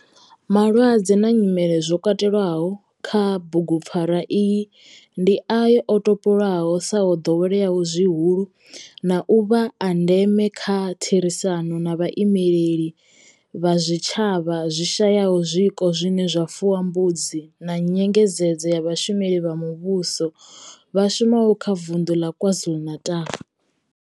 Malwadze na nyimele zwo katelwaho kha bugupfarwa iyi ndi ayo o topolwaho sa o doweleaho zwihulu na u vha a ndeme nga kha therisano na vhaimeleli vha zwitshavha zwi shayaho zwiko zwine zwa fuwa mbudzi na nyengedzedzo ya vhashumeli vha muvhusho vha shumaho kha Vunḓu la KwaZulu-Natal.